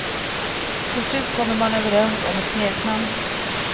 Till slut kommer man överens om ett smeknamn.